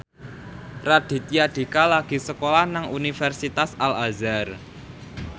Raditya Dika lagi sekolah nang Universitas Al Azhar